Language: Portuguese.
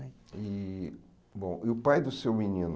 E bom e o pai do seu menino?